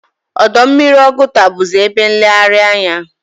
Ọdọ mmiri Oguta bụzi ebe nlegharị anya.